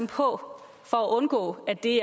på for at undgå at det